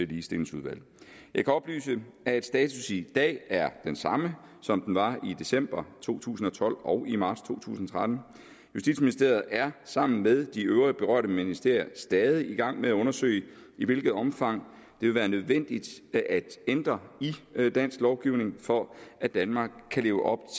ligestillingsudvalget jeg kan oplyse at status i dag er den samme som den var i december to tusind og tolv og i marts to tusind og tretten justitsministeriet er sammen med de øvrige berørte ministerier stadig i gang med at undersøge i hvilket omfang det vil være nødvendigt at ændre i dansk lovgivning for at danmark kan leve op